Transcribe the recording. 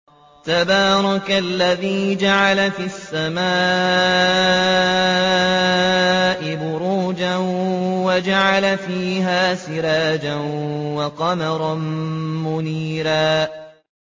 تَبَارَكَ الَّذِي جَعَلَ فِي السَّمَاءِ بُرُوجًا وَجَعَلَ فِيهَا سِرَاجًا وَقَمَرًا مُّنِيرًا